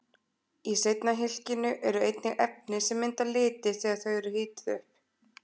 Í seinna hylkinu eru einnig efni sem mynda liti þegar þau eru hituð upp.